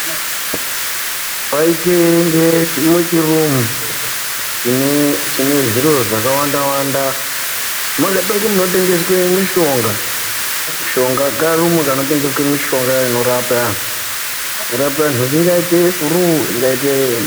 Paite inge muchirumu chine zviro zvakawanda-wanda. Makaite inge munotengeswe mishonga, mishonga. Karumu kanotengeswe mishonga inorapa anhu. kurapa anhu ingaite furuu, ingaite...